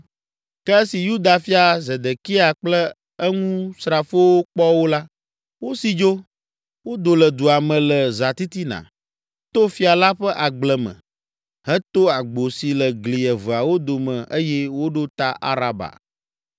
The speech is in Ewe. Ke esi Yuda fia, Zedekia kple eŋusrafowo kpɔ wo la, wosi dzo, wodo le dua me le zãtitina, to fia la ƒe agble me, heto agbo si le gli eveawo dome eye woɖo ta Araba.